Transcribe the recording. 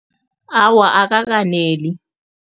Awa, akakaneli.